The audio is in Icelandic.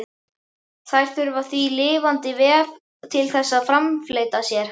Þær þurfa því lifandi vef til þess að framfleyta sér.